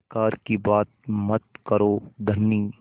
बेकार की बात मत करो धनी